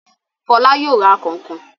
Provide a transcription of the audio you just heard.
Fọlá yóò ra kànkàn.